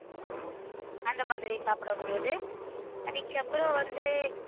அந்த மாதிரி சாப்பிடக் கூடியது. அதுக்கப்புறம் வந்து